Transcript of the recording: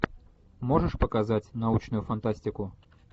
можешь показать научную фантастику